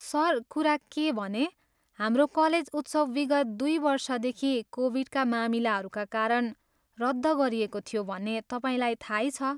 Sir, कुरा के हो भने, हाम्रो कलेज उत्सव विगत दुई वर्षदेखि कोभिडका मामिलाहरूका कारण रद्द गरिएको थियो भन्ने तपाईँलाई थाहै छ।